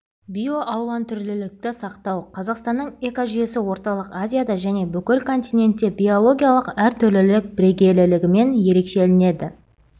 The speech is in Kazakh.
биоалуантүрлілікті сақтау қазақстанның экожүйесі орталық азияда және бүкіл континентте биологиялық әртүрлілік бірегейлігімен ерекшелінеді